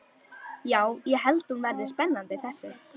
Já, ég held hún verði spennandi þessi.